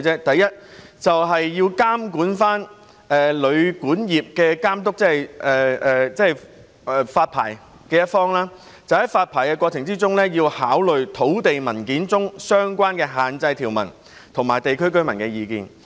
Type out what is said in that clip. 第一，是監管旅管業的監督，即發牌的一方在發牌過程中，要考慮土地文件中相關的限制條文和地區居民的意見。